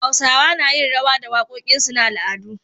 Hausawa nayin rawa da da waƙoƙinsu na al'adu